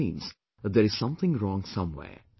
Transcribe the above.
This means that there is something wrong somewhere